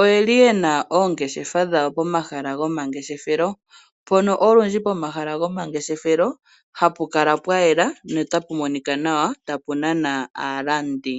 oyena oongeshefa dhawo pomahala gomangeshefelo. Mpono olundji pomahala gomangeshefelo hapukala pwayela po otapu monika nawa tapu nana aalandi.